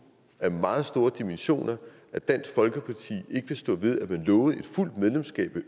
af meget store dimensioner at dansk folkeparti ikke vil stå ved at man lovede et fuldt medlemskab af